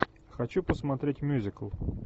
хочу посмотреть мюзикл